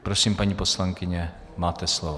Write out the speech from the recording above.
Prosím, paní poslankyně, máte slovo.